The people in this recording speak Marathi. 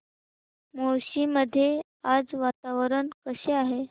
मुळशी मध्ये आज वातावरण कसे आहे